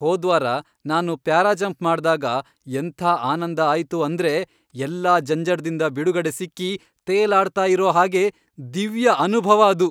ಹೋದ್ವಾರ ನಾನು ಪ್ಯಾರಾಜಂಪ್ ಮಾಡ್ದಾಗ ಎಂಥ ಆನಂದ ಆಯ್ತು ಅಂದ್ರೆ ಎಲ್ಲ ಜಂಜಡ್ದಿಂದ ಬಿಡುಗಡೆ ಸಿಕ್ಕಿ ತೇಲಾಡ್ತಾ ಇರೋ ಹಾಗೆ... ದಿವ್ಯ ಅನುಭವ ಅದು!